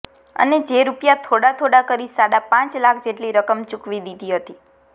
અને જે રૂપિયા થોડા થોડા કરી સાડાપાંચ લાખ જેટલી રકમ ચૂકવી દીધી હતી